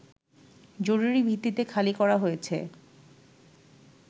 জরুরী ভিত্তিতে খালি করা হয়েছে